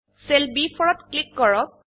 cell ব4 ত click কৰক